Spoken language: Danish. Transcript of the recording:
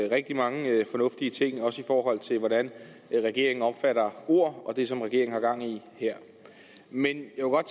rigtig mange fornuftige ting også i forhold til hvordan regeringen opfatter ord og det som regeringen har gang i her men